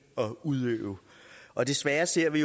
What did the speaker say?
og udøve og desværre ser vi